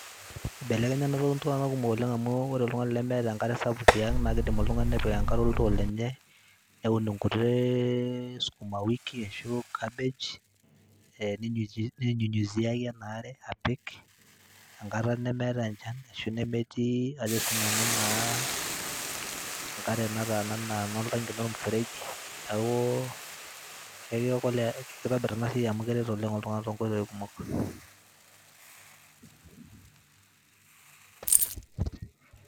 Ibelenya ena toki iltung'anak kumok oleng' amu kore oltung'ani lemeeta enkare sapuk tiang' naake idim oltung'ani nepik enkare oltoo lenye, neun nkuti sukuma wiki arashu cabbage, ee ninyunyuzi ninyunyuziaki ena are apik enkata nemeetai enchan ashu nemetii ajo sinanu naa enkare nataa naa eno oltaki, eno mfereji, neeku kekiokole, kitobir ena siai amu keret oleng' oltung'anak too nkoitoi kumok.